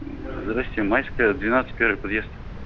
здравствуйте майская двенадцать первый подъезд